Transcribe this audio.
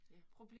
Ja